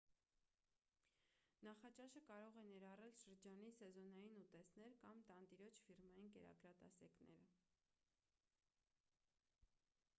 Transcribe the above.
նախաճաշը կարող է ներառել շրջանի սեզոնային ուտեստներ կամ տանտիրոջ ֆիրմային կերակրատեսակը